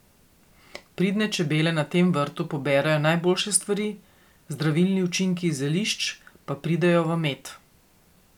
Pridne čebele na tem vrtu poberejo najboljše stvari, zdravilni učinki z zelišč pa pridejo v med.